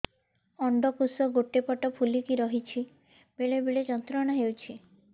ଅଣ୍ଡକୋଷ ଗୋଟେ ପଟ ଫୁଲିକି ରହଛି ବେଳେ ବେଳେ ଯନ୍ତ୍ରଣା ହେଉଛି